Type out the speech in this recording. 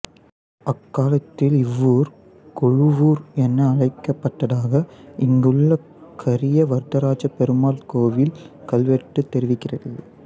அக்காலத்தில் இவ்வூர் குழுவூர் என அழைக்கப்பட்டதாக இங்குள்ள கரிய வரதராஜபெருமாள் கோவில் கல்வெட்டு தெரிவிக்கிறது